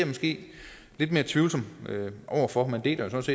måske lidt mere tvivlende over for jeg deler ellers